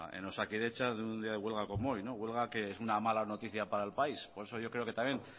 en osakidetza de un día de huelga como hoy huelga que es una mala noticia para el país por eso yo creo que también